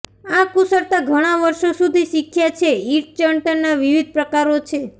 આ કુશળતા ઘણાં વર્ષો સુધી શીખ્યા છે ઈંટ ચણતરના વિવિધ પ્રકારો છે